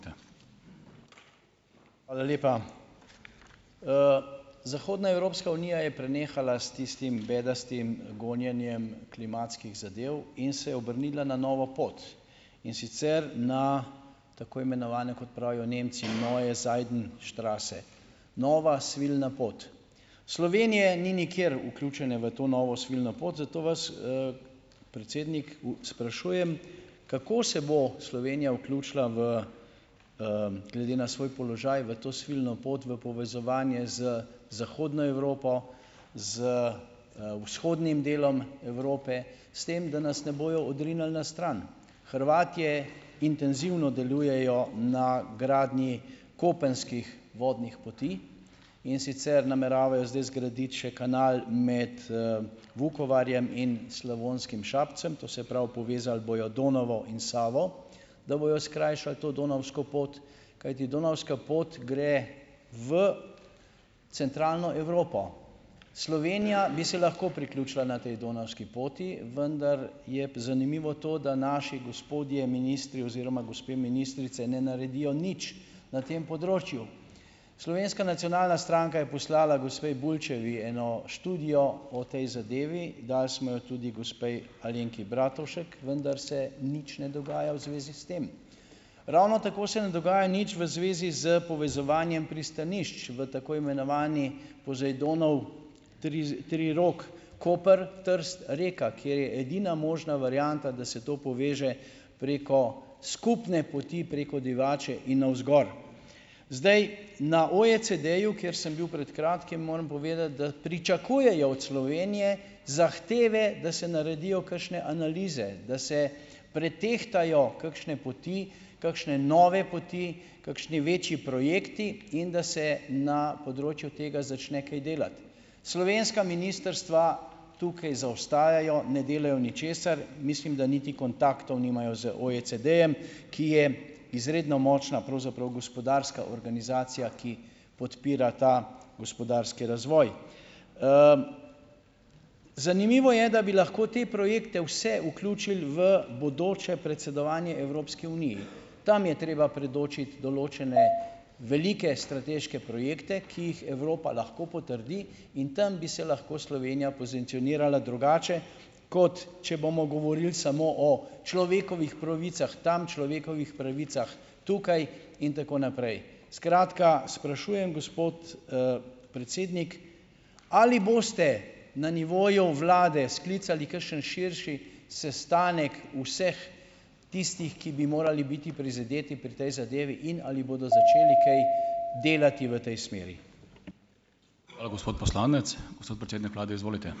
Hvala lepa. zahodna Evropska unija je prenehala s tistim bedastim, gonjenjem klimatskih zadev in se je obrnila na novo pot, in sicer na tako imenovane, kot pravijo Nemci, neue Seidenstraße. Nova svilna pot. Slovenije ni nikjer vključene v to novo svilno pot, zato vas, predsednik sprašujem: "Kako se bo Slovenija vključila v, glede na svoj položaj, v to svilno pot v povezovanje z Zahodno Evropo, z, vzhodnim delom Evrope, s tem, da nas ne bojo odrinili na stran?" Hrvatje intenzivno delujejo na gradnji kopenskih vodnih poti, in sicer nameravajo zdaj zgraditi še kanal med, Vukovarjem in Slavonskim Šapcem, to se pravi, povezali bojo Donavo in Savo, da bojo skrajšali to donavsko pot, kajti donavska pot gre v Centralno Evropo. Slovenija bi se lahko priključila na tej donavski poti, vendar je zanimivo to, da naši gospodje ministri oziroma gospe ministrice ne naredijo nič na tem področju. Slovenska nacionalna stranka je poslala gospe Bulčevi eno študijo o tej zadevi, dali smo jo tudi gospe Alenki Bratušek, vendar se nič ne dogaja v zvezi s tem. Ravno tako se ne dogaja nič v zvezi s povezovanjem pristanišč v tako imenovani Pozejdonov trirok, Koper-Trst-Reka, kjer je edina možna varianta, da se to poveže preko skupne poti, preko Divače in navzgor. Zdaj, na OECD-ju, kjer sem bil pred kratkim, moram povedati, da pričakujejo od Slovenije zahteve, da se naredijo kakšne analize, da se pretehtajo kakšne poti, kakšne nove poti, kakšni večji projekti in da se na področju tega začne kaj delati. Slovenska ministrstva tukaj zaostajajo, ne delajo ničesar, mislim, da niti kontaktov nimajo z OECD-jem, ki je izredno močna pravzaprav gospodarska organizacija, ki podpira ta gospodarski razvoj. zanimivo je, da bi lahko te projekte vse vključili v bodoče predsedovanje Evropski uniji . Tam je treba predočiti določene velike strateške projekte, ki jih Evropa lahko potrdi, in tam bi se lahko Slovenija pozicionirala drugače, kot če bomo govoril samo o človekovih pravicah tam, človekovih pravicah tukaj in tako naprej. Skratka, sprašujem, gospod, predsednik: "Ali boste na nivoju vlade sklicali kakšen širši sestanek vseh tistih, ki bi morali biti prizadeti pri tej zadevi, in ali bodo začeli kaj delati v tej smeri?"